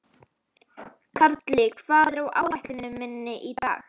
Karli, hvað er á áætluninni minni í dag?